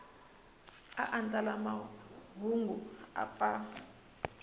a andlala mahungu u pfa